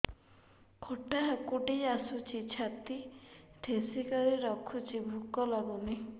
ଖଟା ହାକୁଟି ଆସୁଛି ଛାତି ଠେସିକରି ରଖୁଛି ଭୁକ ଲାଗୁନି